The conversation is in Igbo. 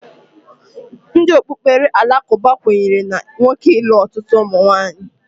Ndị okpukpere alakụba kwenyere na nwoke ịlụ ọtụtụ ụmụnwaanyị